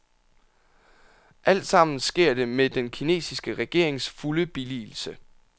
Altsammen sker det med den kinesiske regerings fulde billigelse.